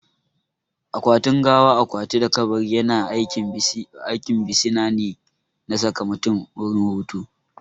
Akwatin gawa, akwati da kabari kayan aikin bisina ne na saka mutum wurin hutu